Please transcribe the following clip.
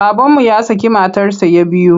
Babanmu ya şakı matarsa ya biyu.